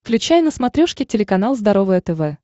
включай на смотрешке телеканал здоровое тв